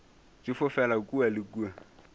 di fofela kua le kua